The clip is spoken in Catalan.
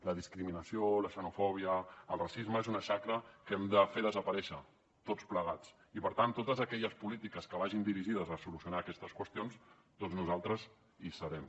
la discriminació la xenofòbia el racisme són una xacra que hem de fer desaparèixer tots plegats i per tant en totes aquelles polítiques que vagin dirigides a solucionar aquestes qüestions doncs nosaltres hi serem